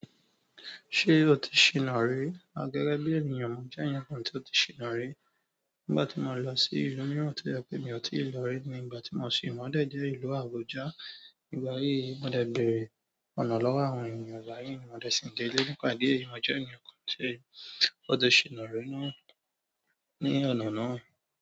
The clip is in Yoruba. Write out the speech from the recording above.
Ṣé o ti ṣìná ré rí? A gẹ́gẹ́ bí ènìyàn, mo jẹ́ ẹnìkan tí ó ti ṣìná ré. Nígbà tí mo lọ sí ìlú mìíràn tí o je pẹ́ mi ò tíì rí lórí, ìgbà tí mo ṣìna dẹ̀ jẹ́ ìlú Àbújá. Ígbà yìí, mo dẹ̀ bẹ̀rẹ̀ ọ̀nà lọ́wọ́ àwọn ènìyàn. Ìgbà yìí ni mo dẹ̀ sìn dé ilé. Nípa ìdí èyí, mo jẹ́ ẹnìkan tí ó ti ṣìná ré náà ní ọ̀nà náà.